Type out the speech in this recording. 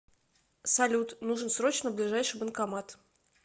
салют нужен срочно ближайший банкомат